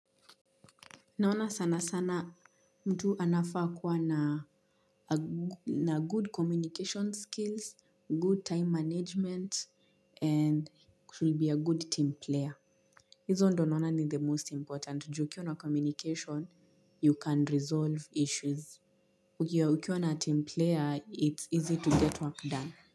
Naona sana sana mtu anafaa kuwa na good communication skills, good time management, and she'll be a good team player. Hizo ndo naona ni the most important, juu ukiwa na communication, you can resolve issues. Ukiwa na team player, it's easy to get work done.